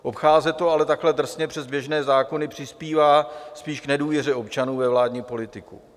Obcházet to ale takhle drsně přes běžné zákony přispívá spíš k nedůvěře občanů ve vládní politiku.